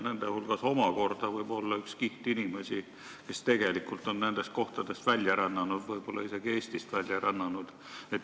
Nende hulgas võib omakorda olla üks kiht inimesi, kes on tegelikult nendest kohtadest välja rännanud, võib-olla isegi Eestist välja rännanud.